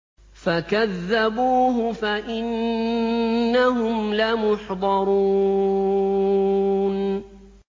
فَكَذَّبُوهُ فَإِنَّهُمْ لَمُحْضَرُونَ